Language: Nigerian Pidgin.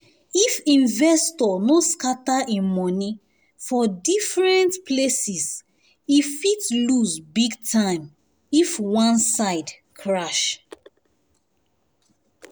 if investor no scatter him money for different places e fit lose big time if one side crash